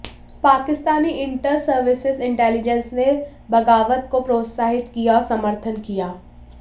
Pakistani Inter Services Intelligence ने बगावत को प्रोत्साहित किया और समर्थन किया